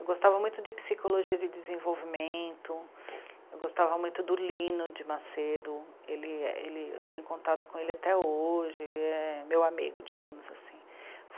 Eu gostava muito de Psicologia de Desenvolvimento, eu gostava muito do Lino de Macedo, ele, ele, eu tenho contato com ele até hoje, ele é meu amigo, digamos assim.